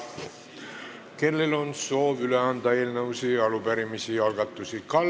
Kellel on soovi anda üle eelnõusid, arupärimisi või algatusi?